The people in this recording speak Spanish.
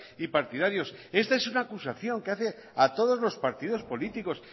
y partidarios esta es una acusación que hace a todos los partidos políticos